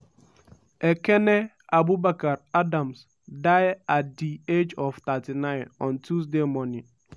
ekene abubakar adams die at di age of 39 on tuesday morning.